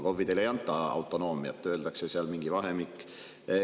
KOV‑idele ei anta autonoomiat, vaid öeldakse mingi vahemik.